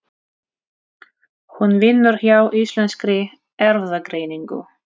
Hún vinnur hjá Íslenskri Erfðagreiningu.